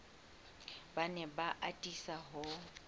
ba ne ba atisa ho